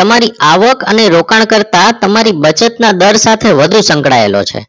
તમારી આવક અને રોકાણ કરતાં તમારી બચત ના દર સાથે વધુ સંકળાયેલો છે